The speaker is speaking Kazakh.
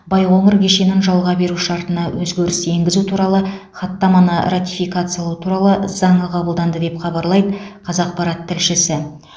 байқоңыр кешенін жалға беру шартына өзгеріс енгізу туралы хаттаманы ратификациялау туралы заңы қабылданды деп хабарлайды қазақпарат тілшісі